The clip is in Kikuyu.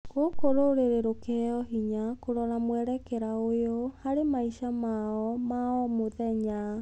gũkũ rũrĩrĩ rũkiheo hinya kũrora mwerekera ũyũ harĩ maica mao ma o mũthenya.